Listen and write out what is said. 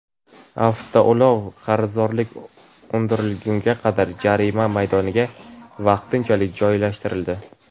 Avtoulov qarzdorlik undirilgunga qadar jarima maydoniga vaqtinchalik joylashtirildi.